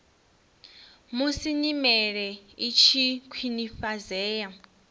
musi nyimele i tshi khwinifhadzea